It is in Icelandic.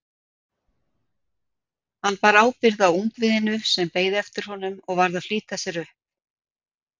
Hann bar ábyrgð á ungviðinu sem beið eftir honum og varð að flýta sér upp.